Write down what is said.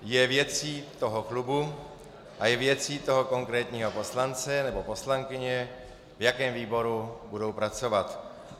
Je věcí toho klubu a je věcí toho konkrétního poslance nebo poslankyně, v jakém výboru budou pracovat.